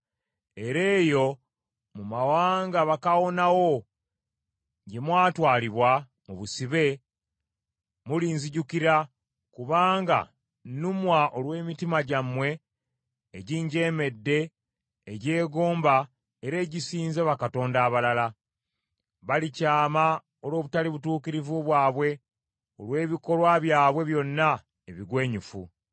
Era eyo mu mawanga bakaawonawo gye mwatwalibwa mu busibe, mulinzijukira, kubanga nnumwa olw’emitima gyabwe eginjeemedde egyegomba era egisinza bakatonda abalala. Balikyama olw’obutali butuukirivu bwabwe, n’olwebikolwa byabwe byonna ebigwenyufu.